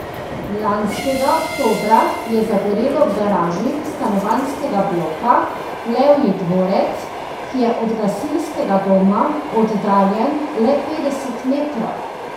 Lanskega oktobra je zagorelo v garaži stanovanjskega bloka Levji dvorec, ki je od gasilskega doma oddaljen le petdeset metrov.